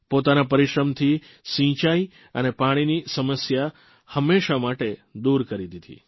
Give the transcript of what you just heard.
પોતાના પરિશ્રમથી સિંચાઇ અને પાણીની સમસ્યા હંમેશ માટે દુર કરી દીધી